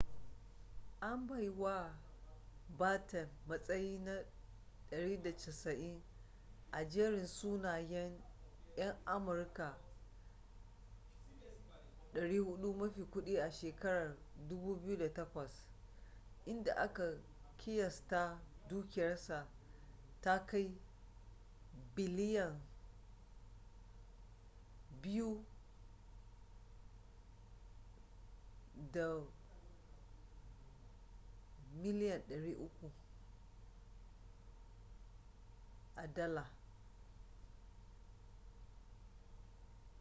an bai wa batten matsayi na 190 a jerin sunayen yan amurka 400 mafi kudi a shekarar 2008 inda aka kiyasta dukiyarsa ta kai biliyan $2.3